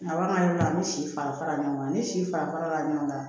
Laban yɔrɔ la an bɛ si fara fara ɲɔgɔn kan ni si fara fara ɲɔgɔn kan